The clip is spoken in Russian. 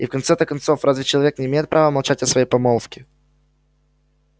и в конце-то концов разве человек не имеет права молчать о своей помолвке